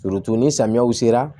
ni samiyaw sera